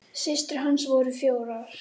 Systur hans voru fjórar.